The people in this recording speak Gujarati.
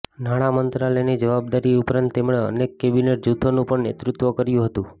નાણાં મંત્રાલયની જવાબદારી ઉપરાંત તેમણે અનેક કેબિનેટ જૂથોનું પણ નેતૃત્વ કર્યું હતું